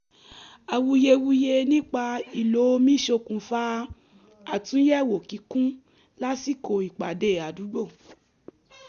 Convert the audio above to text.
awuyewuye nípa ìlò òmi ṣokùnfà àtúnyẹ̀wò kíkún lásìkò ìpàdé àdúgbò